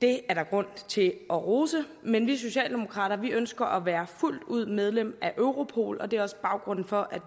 det er der grund til at rose men vi socialdemokrater ønsker at være fuldt ud medlem af europol og det er også baggrunden for at